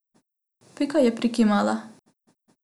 Pika je prikimala.